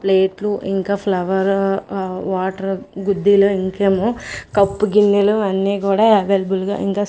ప్లేట్లు ఇంకా ఫ్లవర్ ఆ వాటర్ గుద్దిలో ఇంకేమో కప్పు గిన్నెలు అన్ని కూడా అవైలబుల్ గా ఇంకా--